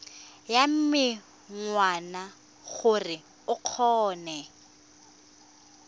ya menwana gore o kgone